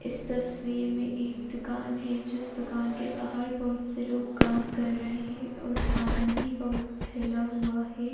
इस तस्वीर में एक दुकान है जिस दुकान के बाहर बहुत से लोग काम कर रहे हें और सामान भी बहुत फैला हुआ है।